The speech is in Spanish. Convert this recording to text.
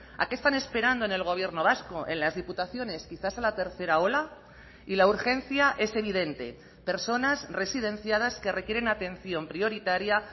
a qué están esperando en el gobierno vasco en las diputaciones quizás a la tercera ola y la urgencia es evidente personas residenciadas que requieren atención prioritaria